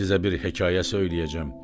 Sizə bir hekayə söyləyəcəm.